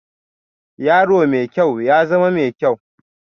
Yaro mai kyau, ya zama mai kyau